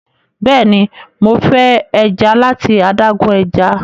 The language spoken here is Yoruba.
béèni Mo fe eja lati adágún ẹja.